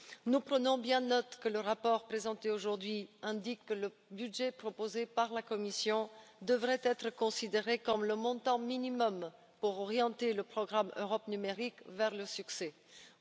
Nous prenons bien note du fait que le rapport présenté aujourd'hui indique que le budget proposé par la Commission devrait être considéré comme le montant minimal pour que le programme Europe numérique puisse aspirer à la réussite.